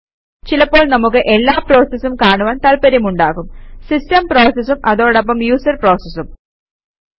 ചിലപ്പോൾ നമുക്ക് എല്ലാ പ്രോസസസും കാണുവാന് താത്പര്യമുണ്ടാകും സിസ്റ്റം പ്രോസസസും അതോടൊപ്പം യൂസര് പ്രോസസസും